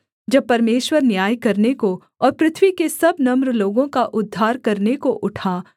जब परमेश्वर न्याय करने को और पृथ्वी के सब नम्र लोगों का उद्धार करने को उठा सेला